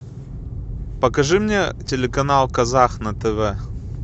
покажи мне телеканал казах на тв